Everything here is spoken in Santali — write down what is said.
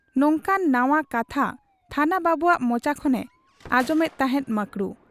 ᱱᱚᱝᱠᱟᱱ ᱱᱟᱶᱟ ᱠᱟᱛᱷᱟ ᱛᱷᱟᱱᱟ ᱵᱟᱹᱵᱩᱣᱟᱜ ᱢᱚᱪᱟ ᱠᱷᱚᱱᱮ ᱟᱸᱡᱚᱢᱮᱫ ᱛᱟᱦᱮᱸᱫ ᱢᱟᱠᱨᱩ ᱾